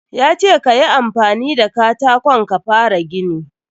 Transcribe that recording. Ya ce ka yi amfani da katakon ka fara gini.